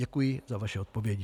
Děkuji za vaše odpovědi.